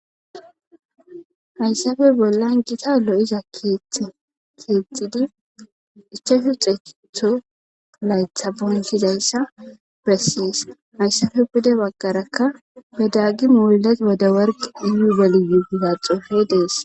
Hayssafe bollan gita lo7iza keetidi ichashu xeekitho laytha bonshizayssa bessees hayssafe pude baggarakka bedagi muulat bode warg diyu geliyugida xofe dees.